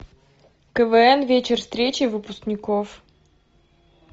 квн вечер встречи выпускников